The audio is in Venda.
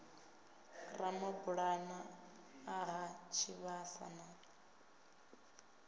ramabulana a ha tshivhasa na